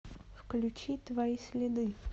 включи твои следы